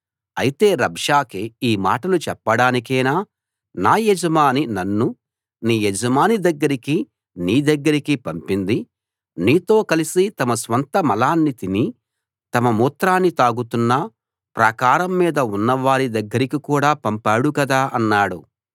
అయితే రబ్షాకే ఈ మాటలు చెప్పడానికేనా నా యజమాని నన్ను నీ యజమాని దగ్గరకీ నీ దగ్గరకీ పంపింది నీతో కలిసి తమ స్వంత మలాన్ని తిని తమ మూత్రాన్ని తాగబోతున్న ప్రాకారం మీద ఉన్న వారి దగ్గరకి కూడా పంపాడు కదా అన్నాడు